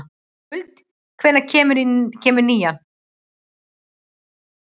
Skuld, hvenær kemur nían?